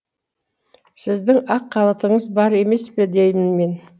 сіздің ақ халатыңыз бар емес пе деймін мен